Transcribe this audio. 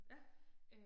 Ja